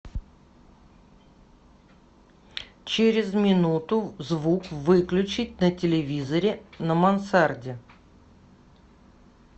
через минуту звук выключить на телевизоре на мансарде